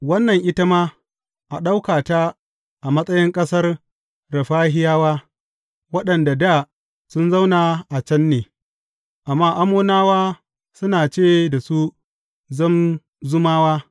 Wannan ita ma a ɗauka ta a matsayin ƙasar Refahiyawa waɗanda dā sun zauna a can ne; amma Ammonawa suna ce da su Zamzummawa.